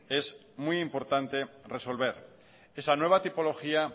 es muy importante resolver esa nueva tipología